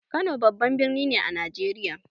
Kano babban birni ne a Najeriya.